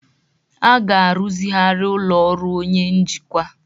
A ga-arụzigharị ụlọ ọrụ onye njikwa